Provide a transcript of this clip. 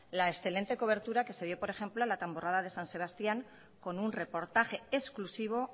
la excelente cobertura que se dio por ejemplo a la tamborrada de san sebastián con un reportaje exclusivo